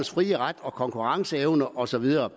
frie ret og konkurrenceevne og så videre